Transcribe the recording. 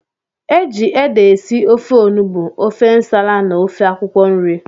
Eji ede esị ofe ọnụgbu, ofe ǹsàlà na ofe akwụkwo nri.